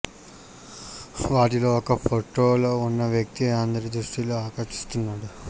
వాటిలో ఒక ఫొటోలో ఉన్న వ్యక్తి అందరి దృష్టిని ఆకర్షిస్తున్నాడు